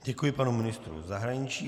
Děkuji panu ministru zahraničí.